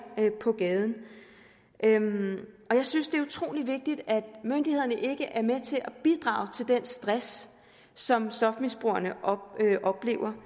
på gaden jeg synes det er utrolig vigtigt at myndighederne ikke er med til at bidrage til den stress som stofmisbrugerne oplever